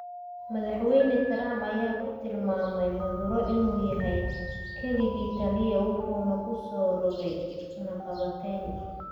Madaxweyne Trump ayaa ku tilmaamay Maduro inuu yahay kaligii taliye, wuxuuna ku soo rogay cunaqabatayn.